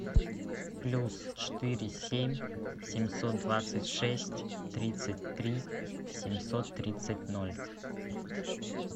плюс четыре семь семьсот двадцать шесть тридцать три семьсот тридцать ноль